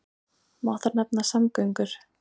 Má þar nefna samgöngur.